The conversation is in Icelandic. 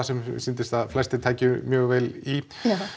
sem mér sýndist að þau tækju mjög vel í